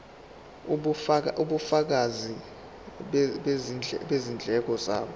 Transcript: ubufakazi bezindleko zabo